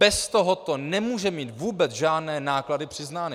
Bez tohoto nemůže mít vůbec žádné náklady přiznány!